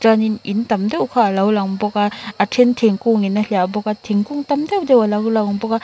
in tam deuh kha a lo lang bawk a a then thingkung in a hliah bawk a thingkung tam deuh deuh a lo lang bawk a.